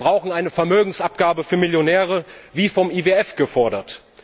Wir brauchen eine Vermögensabgabe für Millionäre wie vom IWF gefordert.